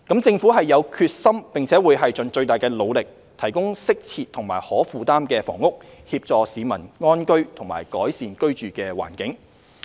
政府有決心並會盡最大努力提供適切及可負擔的房屋，協助市民安居和改善居住環境。